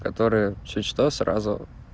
которая чуть что сразу